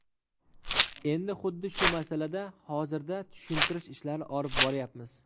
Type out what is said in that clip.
Endi xuddi shu masalada hozirda tushuntirish ishlari olib boryapmiz.